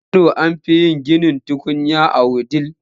A kano an fi yin ginin tukunya a Wudil.